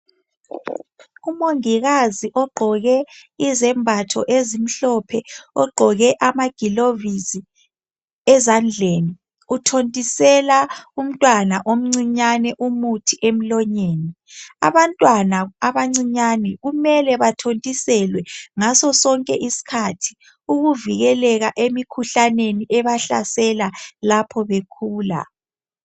umongikazi ogqoke izembatho ezimhlophe ogqoke amagilovisi ezandleni uthontisela umntwana omncinyane umuthi emlonyeni abantwana abancinyane kumele bathontiselwe ngaso sonke isikhathi ukuvikeleka emkhuhlaneni ebahlasela lapho bekhula